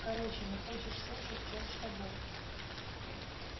короче не хочешь слушать чёрт с тобой